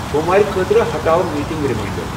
Boom وارِ خٲطرٕ ہٹاو میٹینگ ریماینڈر ۔